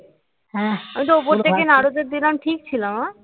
আমি তো উপর দিকে নাড় ঠিক ছিল মা